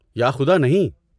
یا خدا، نہیں!